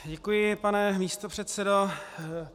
Děkuji, pane místopředsedo.